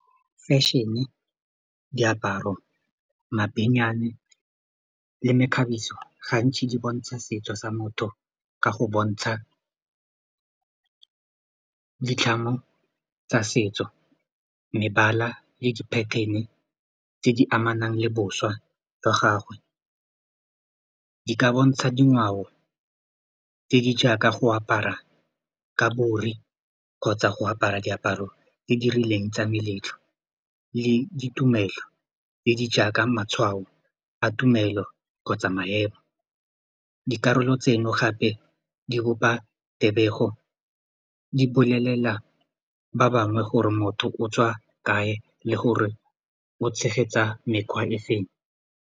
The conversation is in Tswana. Fashion-e, diaparo, mabenyane le mekgabiso gantsi di bontsha setso sa motho ka go bontsha ditlhamo tsa setso mebala le di-pattern-e tse di amanang le boswa jwa gagwe, di ka bontsha dingwao tse di jaaka go apara kgotsa go apara diaparo tse di rileng tsa meletlo le ditumelo tse di jaaka matshwao a tumelo kgotsa maemo dikarolo tseno gape di bopa tebego di bolelela ba bangwe gore motho o tswa kae le gore o tshegetsa mekgwa e feng.